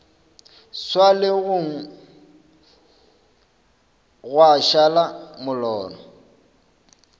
swa legong gwa šala molora